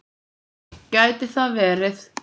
Gæti það verið